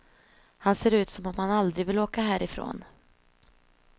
Han ser ut som om han aldrig vill åka härifrån.